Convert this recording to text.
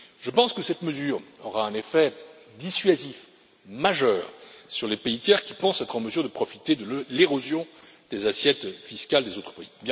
Je pense que cette mesure aura un effet dissuasif majeur sur les pays tiers qui pensent être en mesure de profiter de l'érosion des assiettes fiscales des autres pays.